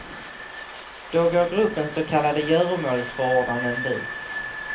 Då går gruppens så kallade göromålsförordnanden ut.